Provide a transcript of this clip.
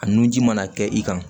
A nun ji mana kɛ i kan